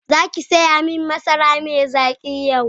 Zaki saya min masara mai zaki yau.